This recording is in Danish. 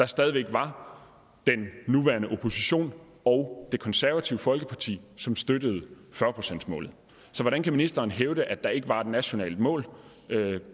stadig væk var den nuværende opposition og det konservative folkeparti som støttede fyrre procentsmålet så hvordan kan ministeren hævde at der ikke var et nationalt mål